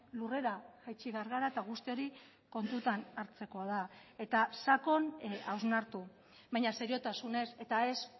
lurrera jaitsi behar gara eta guzti hori kontutan hartzekoa da eta sakon hausnartu baina seriotasunez eta ez